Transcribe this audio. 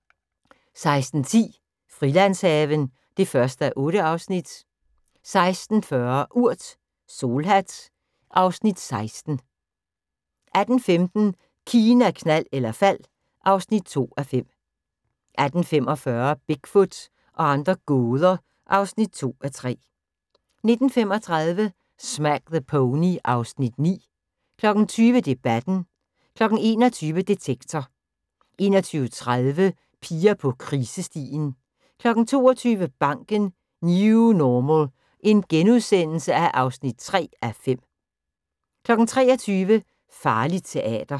16:10: Frilandshaven (1:8) 16:40: Urt: Solhat (Afs. 16) 18:15: Kina, knald eller fald (2:5) 18:45: Bigfoot og andre gåder (2:3) 19:35: Smack the Pony (Afs. 9) 20:00: Debatten 21:00: Detektor 21:30: Piger på krisestien 22:00: Banken - New Normal (3:5)* 23:00: Farligt teater